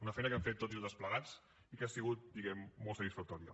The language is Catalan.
una feina que hem fet tots i totes plegats i que ha sigut diguem ne molt satisfactòria